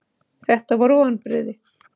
Þetta voru vonbrigði.